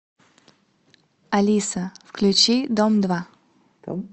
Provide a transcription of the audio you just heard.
алиса включи дом два